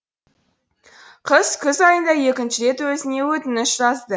қыз күз айында екінші рет өзіне өтініш жазды